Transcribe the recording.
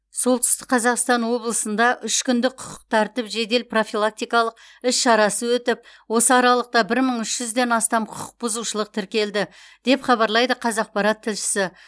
солтүстік қазақстан облысында үшкүндік құқық тәртіп жедел профилактикалық іс шарасы өтіп осы аралықта бір мың үш жүзден астам құқық бұзушылық тіркелді деп хабарлайды қазақпарат тілшісі